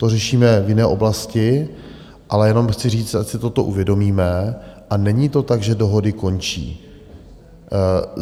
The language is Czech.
To řešíme v jiné oblasti, ale jenom chci říct, ať si toto uvědomíme, a není to tak, že dohody končí.